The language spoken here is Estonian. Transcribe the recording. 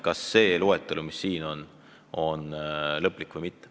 Keit Pentus-Rosimannus, palun!